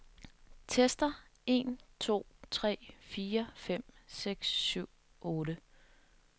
Tester en to tre fire fem seks syv otte.